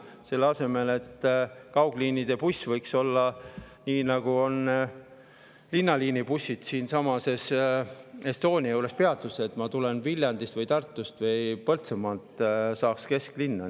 Selle asemel võiks kaugliinibuss nii nagu linnaliinibussid siiasamma Estonia juurde peatusesse, nii et kui ma tulen Viljandist või Tartust või Põltsamaalt, siis saan kesklinna.